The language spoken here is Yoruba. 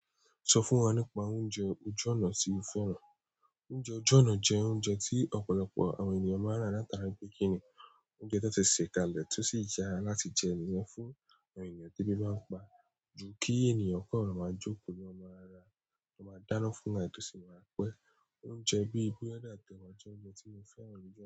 Sọ fún wa nípa oúnjẹ ojú ọ̀nà tí o fẹ́ràn. Oúnjẹ ojú ọ̀nà jẹ́ oúnjẹ tí ọ̀pọ̀lọpọ̀ àwọn ènìyàn máa ń rà látara-- oúnjẹ tó ti se kalẹ̀ tó sì yára láti jẹun wa fún àwọn ènìyàn dẹ́bi bá ń pa, ju kí ènìyàn kó ràn máa jókòó lo máa rà, lọ máa dáná fún àìtó sì máa pẹ́. Oúnjẹ bíi búrẹ́dì atẹ́wa jẹ́ oúnjẹ tí mo fẹ́ràn jù.